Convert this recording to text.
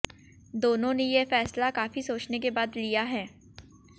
दोनों ने ये फैसला काफी सोचने के बाद लिया है